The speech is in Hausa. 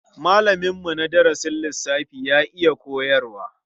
Malaminmu na darasin lissafi ya iya koyarwa.